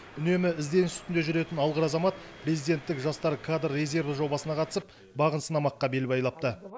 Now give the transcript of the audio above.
үнемі ізденіс үстінде жүретін алғыр азамат президенттік жастар кадр резерві жобасына қатысып бағын сынамаққа бел байлапты